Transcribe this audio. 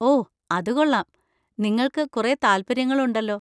ഓ, അത് കൊള്ളാം, നിങ്ങൾക്ക് കുറേ താൽപ്പര്യങ്ങളുണ്ടല്ലോ.